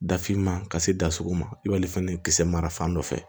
Dafinma ka se da sugu ma i b'ale fɛnɛ kisɛ mara fan dɔ fɛ